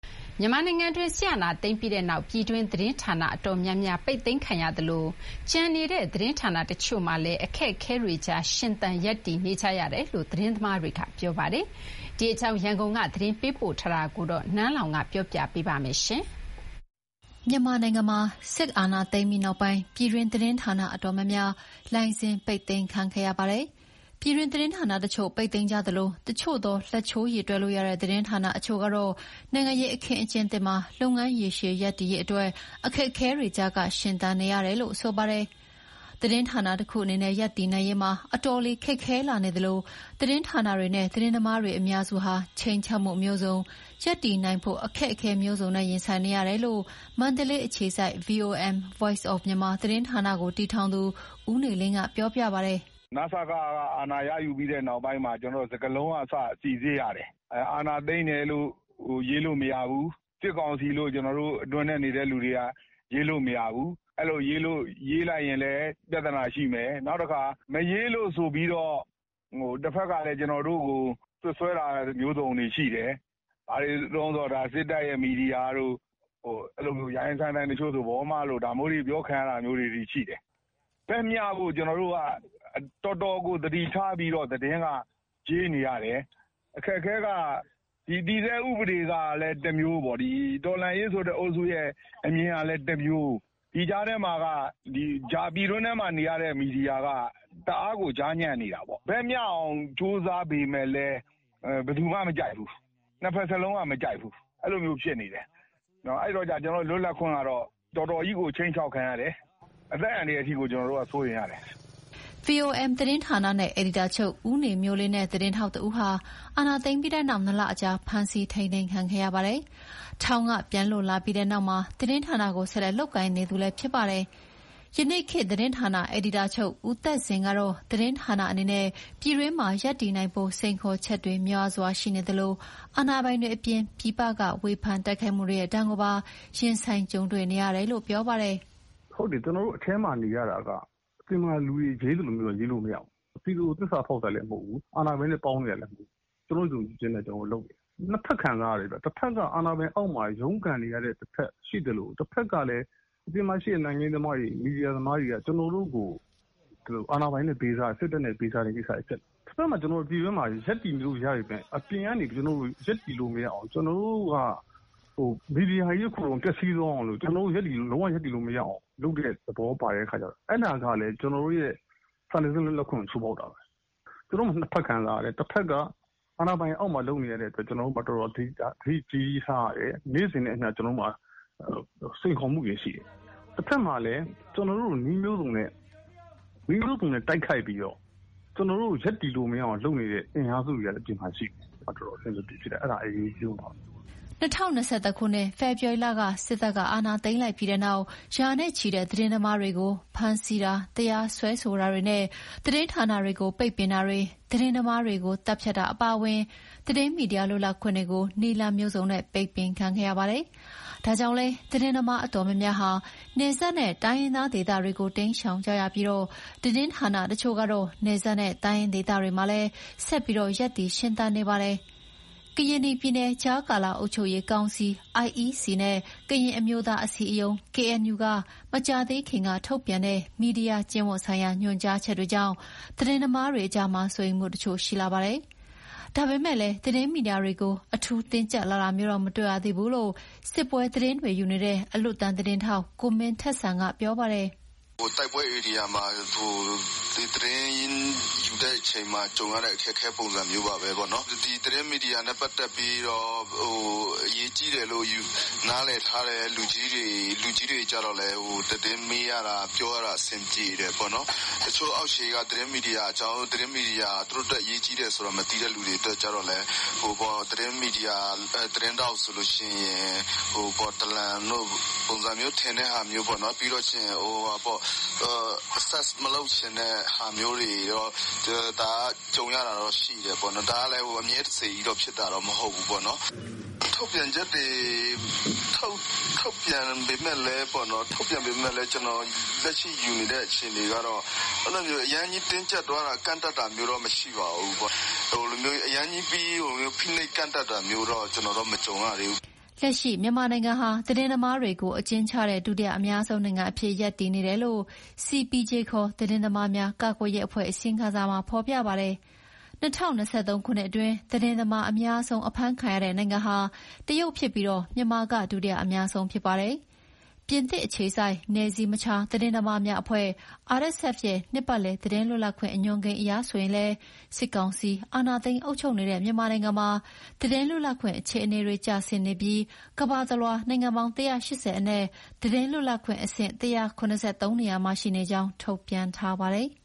မြန်မာနိုင်ငံတွင်း စစ်အာဏာသိမ်းပြီးနောက် ပြည်တွင်းသတင်းဌာနအတော်များများ ပိတ်သိမ်းခံရသလို ကျန်ရှိနေတဲ့သတင်းဌာနတချို့မှာလည်း အခက်အခဲတွေကြား ရှင်သန်ရပ်တည်နေကြရတယ်လို့ သတင်းသမားတွေက ပြောပါတယ်။ ဒီအကြောင်း ရန်ကုန်က သတင်းပေးပို့ထားတာကို နန်းလောဝ်ကတင်ပြပေးထားပါတယ်။ မြန်မာနိုင်ငံမှာ စစ်အာဏာသိမ်းပြီးနောက်ပိုင်း ပြည်တွင်းသတင်းဌာနအတော်များများ လိုင်စင် ပိတ်သိမ်းခံခဲ့ရပါတယ်။ ပြည်တွင်းသတင်းဌာနတချို့ ပိတ်သိမ်းကြသလို တချို့သော လက်ချိုးရေတွက်လို့ရတဲ့သတင်းဌာနအချို့ကတော့ နိုင်ငံရေးအခင်းအကျင်းသစ်မှာ လုပ်ငန်းရေရှည်ရပ်တည် ရေးအတွက် အခက်အခဲတွေကြားက ရှင်သန်နေရတယ်လို့ ဆိုပါတယ်။ သတင်းဌာနတခုအနေနဲ့ရပ်တည်နိုင်ရေးမှာ အတော်လေးခက်ခဲလာနေသလို သတင်းဌာနတွေနဲ့ သတင်းသမားအများစုဟာ ခြိမ်းခြောက်မှုမျိုးစုံ၊ ရပ်တည်နိုင်ဖို့အခက်အခဲမျိုးစုံနဲ့ ရင်ဆိုင်နေရတယ်လို့ မန္တလေးအခြေစိုက် VOM (Voice of Myanmar) သတင်းဌာနကို တည်ထောင်သူ ဦးနေလင်းက ပြောပြ ပါတယ်။ "နစက- က အာဏာရယူပြီးတဲ့နောက်ပိုင်းမှာ စကားလုံးကအစ စိစစ်ရတယ်။ အာဏာသိမ်းတယ်-လို့ ရေးလို့မရဘူး။ 'စစ်ကောင်စီ'လို့ ကျနော်တို့အတွင်းထဲနေတဲ့သူတွေက ရေးလို့မရဘူး။ အဲလို ရေးလိုက်ရင်လည်း ပြဿနာရှိမယ်။ နောက်တခါ မရေးလို့ဆိုပြီးတော့ တဘက်ကလည်း ကျနော်တို့ကို စွပ်စွဲတာမျိုးစုံတွေရှိတယ်။ ဘာတွေတုန်းဆိုတော့ 'စစ်တပ်ရဲ့မီဒီယာ' တို့၊ တချို့ဆို ရိုင်းရိုင်းစိုင်းစိုင်း '...မ' တို့ အပြောခံရတာမျိုးတွေအထိ ရှိတယ်။ ဘက်မျှဖို့ ကျနော်တို့က တော်တော်ကိုသတိထားပြီး သတင်းရေးနေရတယ်။ အခက်အခဲက တည်ဆဲဥပဒေကလည်းတမျိုးပေါ့၊ ဒီ တော်လှန်ရေးဆိုတဲ့အုပ်စုရဲ့အမြင်ကလည်းတမျိုး၊ ဒီကြားထဲမှာက ပြည်တွင်းထဲမှာနေရတဲ့မီဒီယာက တအားကို ကြားညပ်နေတာပေါ့။ ဘက်မျှအောင်ကြိုးစားပေမဲ့လည်း ဘယ်သူမှ မကြိုက်ဘူး။ နှစ်ဘက်စလုံးက မကြိုက်ဘူး။အဲလိုမျိုး ဖြစ်နေတယ်။ အဲဒီတော့ လွတ်လပ်ခွင့်ကတော့ တော်တော်ကြီးကို ခြိမ်းခြောက်ခံရတယ်၊ အသက်အန္တရာယ်အထိကို ကျနော်တို့က စိုးရိမ်ရတယ်။" VOM သတင်းဌာနရဲ့အယ်ဒီတာချုပ် ဦးနေမျိုးလင်းနဲ့ သတင်းထောက်တဦးဟာ အာဏာသိမ်းပြီးတဲ့နောက် နှစ်လကြာ ဖမ်းဆီးထိန်းသိမ်းခံခဲ့ရပါတယ်။ ထောင်ကပြန်လွတ်လာပြီးနောက်လည်း သတင်းဌာနကို ဆက်လက်လုပ်ကိုင်နေသူဖြစ်ပါတယ်။ ယနေ့ခေတ်သတင်းဌာန အယ်ဒီတာချုပ်ဦးသက်ဇင်ကတော့ သတင်းဌာနအနေနဲ့ ပြည်တွင်းမှာ ရပ်တည်နိုင်ဖို့ စိန်ခေါ်ချက်တွေများစွာရှိနေသလို၊ အာဏာပိုင်တွေအပြင် ပြည်ပကဝေဖန်တိုက်ခိုက်မှုတွေရဲ့ ဒဏ်ကိုပါရင်ဆိုင်ကြုံတွေ့နေရတယ်လို့ ပြောပါတယ်။ "ဟုတ်တယ်၊ ကျနော်တို့အထဲမှာနေရတာက အပြင်မှာလူတွေရေးသလိုမျိုးတော့ ရေးလို့မရဘူး။ ပြည်သူကိုသစ္စာဖောက်တာလည်းမဟုတ်ဘူး။ အာဏာပိုင်တွေနဲ့ပေါင်းနေတာလည်းမဟုတ်ဘူး။ ကျနော်တို့ယုံကြည်ချက်နဲ့ကျနော်တို့လုပ်နေတာ။ နှစ်ဘက်ခံစားရတယ်ဗျ။ တဘက်က အာဏာပိုင်တွေအောက်မှာ ရုန်းကန်ရတဲ့တဘက်ရှိသလို တဘက်ကလည်း အပြင်မှာရှိတဲ့ နိုင်ငံရေးသမားတွေ၊ မီဒီယာသမားတွေက ကျနော်တို့ကို အာဏာပိုင်တွေနဲ့ပေးစားတယ်၊ စစ်တပ်နဲ့ပေးစားတဲ့ကိစ္စတွေဖြစ်တယ်။ ကျနော်တို့ ပြည်တွင်းမှာရပ်တည်လို့ရပေမဲ့ အပြင်ကနေ ကျနော်တို့ကိုရပ်တည်လို့မရအောင်...ကျနော်တို့က.မီဒီယာ....အကုန်လုံးပျက်စီးသွားအောင်လို့....လုံးဝရပ်တည်လို့မရအောင်လုပ်တဲ့သဘောပါတဲ့အခါကျတော့ အဲဒါကလည်း ကျနော်တို့ရဲ့စာနယ်ဇင်းလွတ်လပ်ခွင့်ကို ချိုးဖောက်တာပဲ။ နှစ်ဘက်ခံစားရတယ်။ တဘက်က အာဏာပိုင်တွေအောက်မှာလုပ်နေရတဲ့အတွက် ကျနော်တို့မှာ သတိကြီးကြီးထားရတယ်။ နေ့စဥ်နဲ့အမျှ ကျနော်တို့မှာ စိန်ခေါ်မှုတွေရှိတယ်။ တဘက်မှာလည်း ကျနော်တို့ကိုနည်းမျိုးစုံနဲ့ တိုက်ခိုက်ပြီးတော့ ကျနော်တို့ကိုရပ်တည်လို့မရအောင် လုပ်နေတဲ့အင်အားစုတွေကလည်း အပြင်မှာရှိတယ်။ အဲဒါ တော်တော် အဆင်မပြေဖြစ်တယ်။အဲဒါက အရေးအကြီးဆုံးပါပဲ။" ၂၀၂၁ ခုနှစ် ဖေဖော်ဝါရီလ စစ်တပ်ကအာဏာသိမ်းပြီးနောက် ရာနဲ့ချီတဲ့သတင်းသမားတွေကို ဖမ်းဆီးတာတရားစွဲဆိုတာတွေနဲ့ သတင်းဌာနတွေကို ပိတ်ပင်တာတွေ၊ သတင်းသမားတွေကို သတ်ဖြတ်တာအပါအဝင် သတင်းမီဒီယာလွတ်လပ်ခွင့်တွေကို နည်းလမ်းမျိုးစုံနဲ့ ပိတ်ပင်ခံခဲ့ရပါတယ်။ ဒါကြောင့်လည်း သတင်းသမားအတော်များများဟာ နယ်စပ်နဲ့ တိုင်းရင်းသားဒေသတွေကို ရှောင်တိမ်းကြရပြီး သတင်းဌာနတချို့ကတော့ နယ်စပ်နဲ့ တိုင်းရင်းဒေသတွေမှာလည်း ဆက်ပြီး ရပ်တည်ရှင်သန်နေပါတယ်။ ကရင်နီပြည် ကြားကာလအုပ်ချုပ်ရေးကောင်စီ နဲ့ ကရင်အမျိုးသားအစည်းအရုံး က မကြာသေးခင်က ထုတ်ပြန်တဲ့ မီဒီယာကျင့်ဝတ်ဆိုင်ရာ ညွှန်ကြားချက်တွေကြောင့် သတင်းသမားတွေကြားမှာ စိုးရိမ်မှုတချို့ရှိလာပါတယ်။ ဒါပေမယ့်လည်း သတင်းမီဒီယာတွေကို အထူးတင်းကြပ်လာတာမျိုးတော့ မတွေ့ရသေးဘူးလို့ စစ်ပွဲသတင်းတွေယူနေတဲ့ အလွတ်တမ်းသတင်းထောက် ကိုမင်းထက်စံက ပြောပါတယ်။ "တိုက်ပွဲဧရိယာမှာ သတင်းယူတဲ့အချိန်မှာ ကြုံတဲ့အခက်အခဲပုံစံမျိုးပါပဲ။ ဒီသတင်းမီဒီယာနဲ့ပတ်သက်ပြီးတော့ အရေးကြီးတယ်လို့နားလည်ထားတဲ့လူကြီးတွေကျတော့လည်း သတင်းယူရတာ၊ ပြောရတာအဆင်ပြေတယ်ပေါ့နော်။ တချို့အောက်ခြေက ကျနော်တို့သတင်းမီဒီယာက သူတို့အတွက် အရေးကြီးတယ်ဆိုတာမသိတဲ့လူတွေအတွက်ကျတော့လည်း သတင်းထောက် ဆိုလို့ရှိရင် ဒလံ လို့ ထင်တဲ့ပုံစံမျိုးပေါ့နော်။ ဒါမျိုးတွေကြုံရတာတော့ ရှိတယ်ပေါ့နော်၊ ဒါကလည်း အမြဲတစေကြီးတော့ ဖြစ်တာတော့ မဟုတ်ဘူးပေါ့နော်။ ထုတ်ပြန်ချက်တွေ ထုတ်ပြန်ပေမဲ့လည်းပေါ့နော်၊ လက်ရှိယူနေတဲ့အခြေအနေကတော့ အရမ်းကြီးတင်းကြပ်သွားတာ ကန့်သတ်တာမျိုးတော့ မရှိပါဘူး။ အရမ်းကြီး...ဖိနှိပ်ကန့်သတ်တာမျိုးတော့ ကျနော်တော့ မကြုံရသေးဘူး။" လက်ရှိ မြန်မာနိုင်ငံဟာ သတင်းသမားတွေကိုအကျဉ်းချတဲ့ ဒုတိယအများဆုံးနိုင်ငံအဖြစ်ရပ်တည်နေတယ်လို့ CPJ ခေါ် သတင်းသမားများ ကာကွယ်ရေး အဖွဲ့ အစီရင်ခံစာမှာဖော်ပြပါတယ်။ ၂၀၂၃ ခုနှစ်အတွင်း သတင်းသမား အများဆုံးအဖမ်းခံရတဲ့နိုင်ငံဟာ တရုတ်ဖြစ်ပြီး မြန်မာက ဒုတိယအများဆုံးဖြစ်ပါတယ်။ ပြင်သစ်အခြေစိုက် နယ်စည်းမခြား သတင်းသမားများအဖွဲ့ ရဲ့ နှစ်ပတ်လည် သတင်းလွတ်လပ်ခွင့် အညွှန်းကိန်းအရဆိုရင်လည်း စစ်ကောင်စီ အာဏာသိမ်း အုပ်ချုပ်နေတဲ့ မြန်မာနိုင်ငံမှာ သတင်းလွတ်လပ်ခွင့် အခြေအနေတွေကျဆင်းနေပြီး ကမ္ဘာတလွှား နိုင်ငံပေါင်း ၁၈၀ အနက် သတင်းလွတ်လပ်ခွင့်အဆင့် ၁၇၃ နေရာမှာ ရှိနေကြောင်းထုတ်ပြန်ထားပါတယ်။